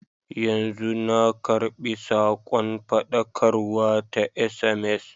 Yanzu na karɓi sakon faɗakarwa ta sms.